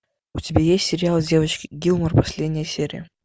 у тебя есть сериал девочки гилмор последняя серия